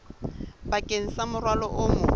bakeng sa morwalo o mong